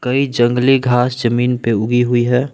ये जंगली घास जमीन पे उगी हुई है।